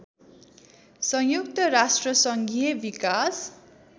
संयुक्त राष्ट्रसङ्घीय विकास